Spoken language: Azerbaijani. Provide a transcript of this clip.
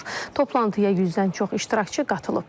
Toplantıya 100-dən çox iştirakçı qatılıb.